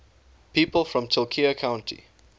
people from tulcea county